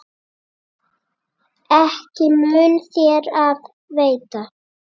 Ekki mun þér af veita.